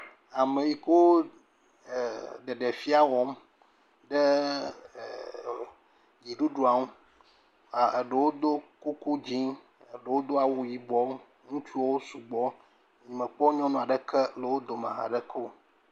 Ame yike wo ɖeɖefia wɔm tso dziɖuɖua ŋu. Eɖewo ɖo kukɔ dzɛ, eɖewo Do awu yibɔ. Ŋutsuwo sugbɔ. Nye me kpɔ nyɔnua ɖeke le wò dome hã ɖeke o.